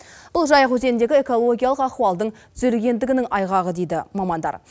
бұл жайық өзеніндегі экологиялық ахуалдың түзелгендігінің айғағы дейді мамандар